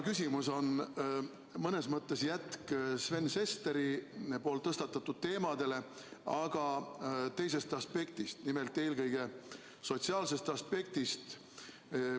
Küsimus on mõnes mõttes jätk Sven Sesteri tõstatatud teemadele, aga teisest aspektist, nimelt eelkõige sotsiaalsest aspektist.